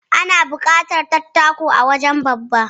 Ana buƙatar dattako a wajen babba.